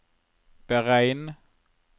beregn